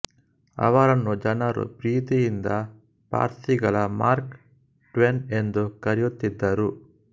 ಆವರನ್ನು ಜನರು ಪ್ರೀತಿಯಿಂದ ಪಾರ್ಸಿಗಳ ಮಾರ್ಕ್ ಟ್ವೇನ್ ಎಂದು ಕರೆಯುತ್ತಿದ್ದರು